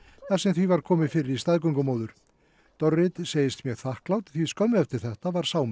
þar sem því var komið fyrir í staðgöngumóður segist mjög þakklát því skömmu eftir þetta var